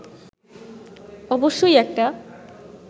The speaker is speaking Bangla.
অবশ্যই একটা